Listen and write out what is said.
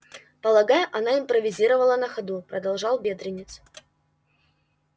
полагаю она импровизировала на ходу продолжал бедренец